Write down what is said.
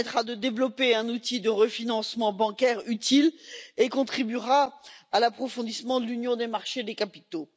Il permettra de développer un outil de refinancement bancaire utile et contribuera à l'approfondissement de l'union des marchés des capitaux.